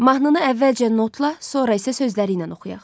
Mahnını əvvəlcə notla, sonra isə sözləri ilə oxuyaq.